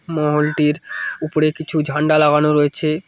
মহলটির উপরে কিছু ঝান্ডা লাগানো রয়েছে।